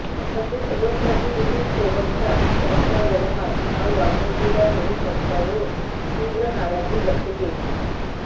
तसेच लोकप्रतिनिधींसोबतचा त्यांचा व्यवहार हा वागणुकीला धरून नसल्यावरून तीव्र नाराजी व्यक्त केली